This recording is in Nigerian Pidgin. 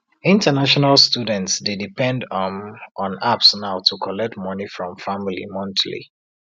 international students dey depend um on apps now to collect money from family monthly